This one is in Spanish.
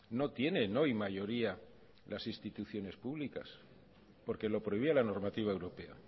no tiene no hay mayoría las instituciones públicas porque lo prohibía la normativa europea